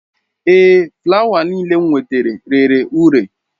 Ee, fụlawa niile m nwetara rere ure.